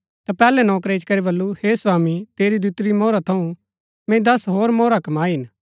ता पैहलै नौकरै इच्ची करी बल्लू हे स्वामी तेरी दितुरी मोहरा थऊँ मैंई दस होर मोहरा कमाई हिन